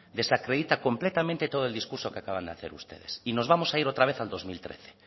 desacredita completamente todo el discurso que acaban de hacer ustedes y nos vamos a ir otra vez al año dos mil trece